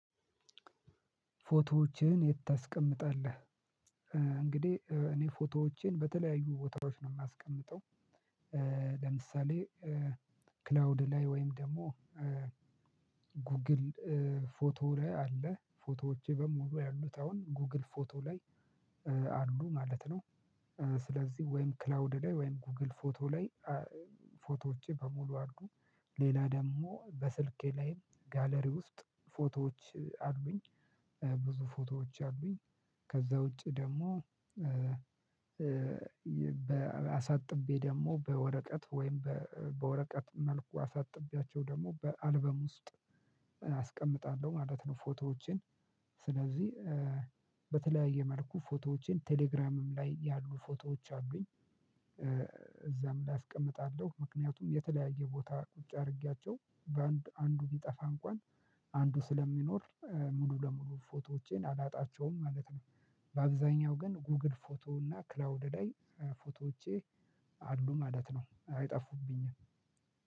ፎቶዎችህን የት ታስቀምጣለህ? እንግዲህ እኔ ፎቶዎቼን በተለያዩ ቦታዎች ነው የማስቀምጠው። ለምሳሌ ክላውድ ላይ ወይም ደግሞ ጉግል ፎቶ ላይ አለ ፎቶዎቼ በሙሉ ያሉት አሁን ጉግል ፎቶ ላይ አሉ ማለት ነው። ስለዚህ ወይም ክላውድ ላይ ወይም ጎግል ፎቶ ላይ ፎቶዎቼ በሙሉ አሉ። ሌላ ደግሞ በስልኬ ላይም ጋለሪ ውስጥ ፎቶዎች አሉኝ ብዙ ፎቶዎች አሉኝ። ከዛ ውጪ ደግሞ አሳጥቤ ደግሞ በወረቀት ወይም በወረቀት መልኩ አሳጥቤያቸው ደግሞ በአልበም ውስጥ አስቀምጣለሁ ማለት ነው። ፎቶዎቼን ስለዚህ በተለያየ መልኩ ፎቶዎቼን ቴሌግራምም ላይ ያሉ ፎቶዎች አሉኝ። እዛም ላይ አስቀምጣለሁ ምክንያቱም የተለያየ ቦታ ቁጭ አድርጊያቸው በአንድ አንዱ ቢጠፋ እንኳን አንዱ ስለሚኖር ሙሉ ለሙሉ ፎቶዎቼን አላጣቸውም ማለት ነው። በአብዛኛው ግን ጉግል ፎቶ እና ክላውድ ላይ ፎቶዎቼ አሉ ማለት ነው አይጠፉብኝም።